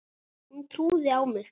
Hún trúði á mig.